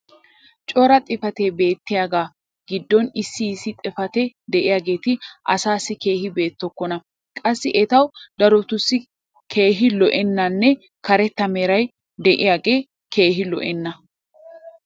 cora xifatee beettiyaaga giddon issi issi xifatetti diyaageeti asaassi keehi beetokkona. qassi etawu darotussi keehi lo'ennanne karetta meray diyaagee keehi lo'enna.